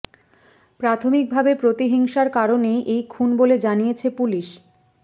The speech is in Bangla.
প্রাথমিকভাবে প্রতিহিংসার কারণেই এই খুন বলে জানিয়েছে পুলিশ